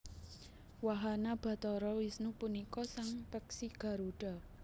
Wahana Bathara Wisnu punika sang peksi Garudha